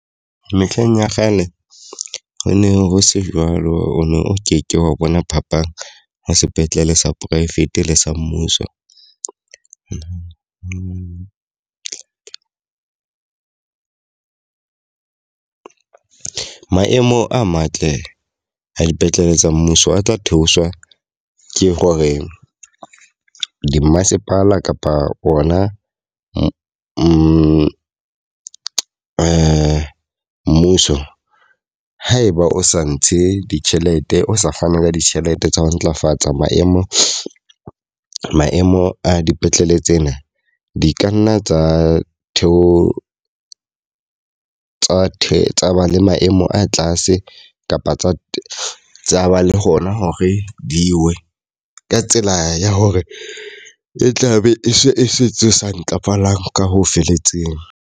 Mehleng ya kgale ho ne ho se jwalo o no o ke ke wa bona phapang ho sepetlele sa poraefete le sa mmuso. Maemo a matle a dipetlele tsa mmuso a tla theoswa ke hore di mmasepala kapa ona mmuso haeba o sa ntshe ditjhelete, o sa fana ka ditjhelete tsa ho ntlafatsa maemo maemo a dipetlele tsena. Di ka nna tsa theo tsa tsa ba le maemo a tlase kapa tsa ba le hona hore di we ka tsela ya hore e tla be e se e se tse sa ntlafalang ka ho felletseng.